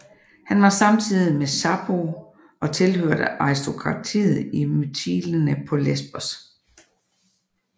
Han var samtidig med Sappho og tilhørte aristokratiet i Mytilene på Lesbos